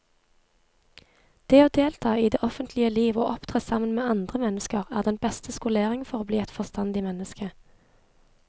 Det å delta i det offentlige liv og opptre sammen med andre mennesker er den beste skolering for å bli et forstandig menneske.